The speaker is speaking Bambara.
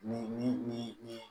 Ni ni ni ni